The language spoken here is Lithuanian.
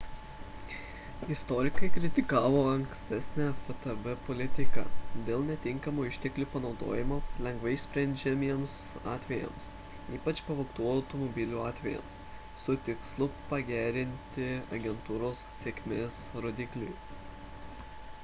istorikai kritikavo ankstesnę ftb politiką dėl netinkamo išteklių panaudojimo lengvai išsprendžiamiems atvejams ypač pavogtų automobilių atvejams su tikslu pagerinti agentūros sėkmės rodiklį